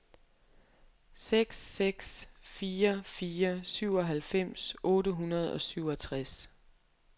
seks seks fire fire syvoghalvfems otte hundrede og syvogtres